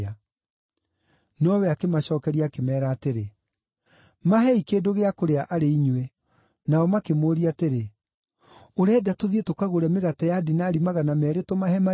Nowe akĩmacookeria akĩmeera atĩrĩ, “Maheei kĩndũ gĩa kũrĩa arĩ inyuĩ.” Nao makĩmũũria atĩrĩ, “Ũrenda tũthiĩ tũkagũre mĩgate ya dinari magana meerĩ tũmahe marĩe?”